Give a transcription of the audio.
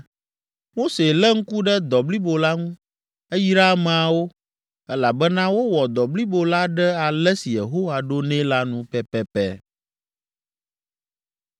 Mose lé ŋku ɖe dɔ blibo la ŋu. Eyra ameawo, elabena wowɔ dɔ blibo la ɖe ale si Yehowa ɖo nɛ la nu pɛpɛpɛ.